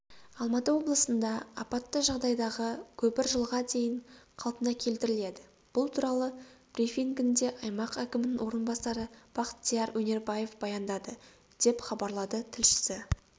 алматы облысында апатты жағдайдағы көпір жылға дейін қалпына келтіріледі бұл туралы брифингінде аймақ әкімінің орынбасары бақтияр өнербаев баяндады деп хабарлады тілшісі